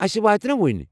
أسہِ وٲتہِ نا وُنۍ؟